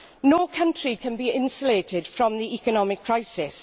No country can be insulated from the economic crisis.